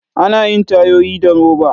Ana yin tayoyi da roba.